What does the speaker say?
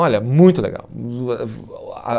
Olha, muito legal.